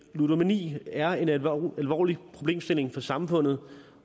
ludomani er en alvorlig problemstilling for samfundet